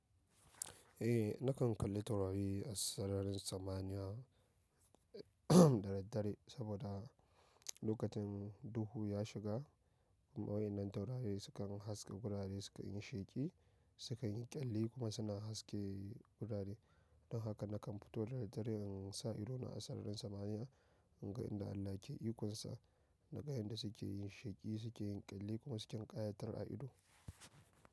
Eh, nakan kalli taurari a sararin samaniya da daddare saboda lokacin duhu ya shiga kuma waɗannan taurari sukan haske gurare sukan yi sheƙi, sukan yi ƙyalli kuma suna haske gurare. Don haka nakan fito dare daddare in sa ido na a sararin samaniya in ga inda Allah ke ikonsa da ga yanda suke yin sheƙi, suke yin ƙyalli kuma suke ƙayatar a ido.